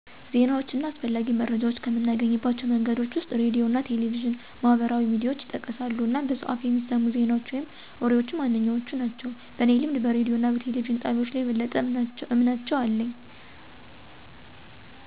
ዜናዎች እና አስፈላጊ መረጃዎች ከምናገኝባቸው መንገዶች ወስጥ ሬዲዮ አና ቴሌቪዥንና(የግልም ሆነ የመንግስት)፣ማህበራዊ ሚዲያዎች (ፌስቡክ፣ ቴሌግራም.... ወዘት) ይጠቀሳሉ አናም በሰው አፍ በሚሰሙት ዜናዎች ወይም ወሬዎች ዋነኛዎቹ ናቸው። በኔ ልምድ በሬዲዮ እና በቴሌቪዥን ጣቢያዎች ላይ የበለጠ አምናቸው አለው። ምክንያቱም ትክክለኛና የተረጋገጠ መረጃ ይስጣሉ፣ የሚመነጩት ከሙያዊ ዘጋቢዎች ነው፣ ለረጅም ጊዜው የታወቁ እና የተረጋገጠ ዝንባሌ አላቸው እናም በአካባቢው የሚታወቁ ዘጋቢዎች ይኖሩታል ከዚያ የተነሳ ምርጫየ አድርጋው አለሁ።